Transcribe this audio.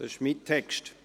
Das ist mein Text.